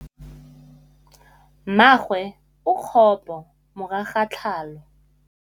Mmagwe o kgapô morago ga tlhalô.